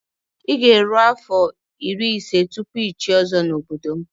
I ga-eru afọ irí ise tụpụ ichié ozo na ọbọdọ m.